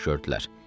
şördülər.